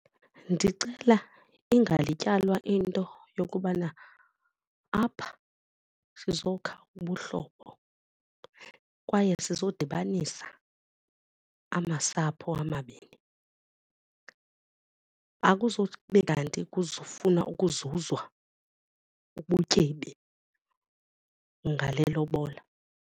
Ndicela ingalityalwa into yokubana apha sizokha ubuhlobo kwaye sizodibanisa amasapho amabini. Akuzube kanti kuzofunwa ukuzuzwa ubutyebi ngale lobola.